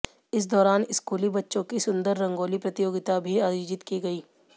इस दौरान स्कूली बच्चों की सुंदर रंगोली प्रतियोगिता भी आयोजित की गई